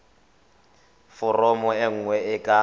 foromo e nngwe e ka